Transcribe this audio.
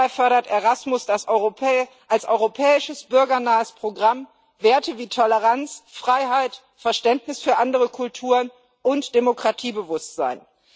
Dabei fördert Erasmus als europäisches bürgernahes Programm Werte wie Toleranz und Freiheit, Verständnis für andere Kulturen und Demokratiebewusstsein.